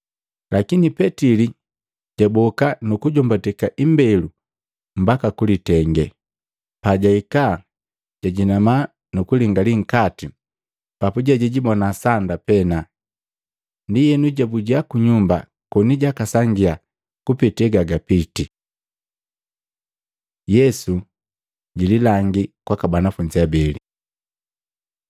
Lakini Petili jaboka nukujombateka imbelu mbaka kulitenge. Pajahika, jajinama nu kulingali nkati, papuje jijibona sanda pena. Ndienu jabuja ku nyumba koni jakasangia kupete gagapitii. Yesu jililangi kwaka banafunzi abeli Maluko 16:12-13